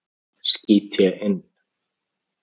skýt ég inn.